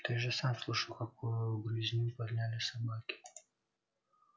ты же сам слышал какую грызню подняли собаки